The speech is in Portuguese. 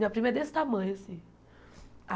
Minha prima é desse tamanho, assim.